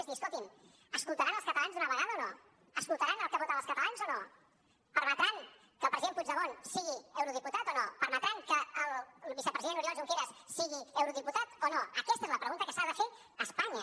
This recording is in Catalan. és dir escolti’m escoltaran als catalans d’una vegada o no escoltaran el que voten els catalans o no permetran que el president puigdemont sigui eurodiputat o no permetran que el vicepresident oriol junqueras sigui eurodiputat o no aquesta és la pregunta que s’ha de fer espanya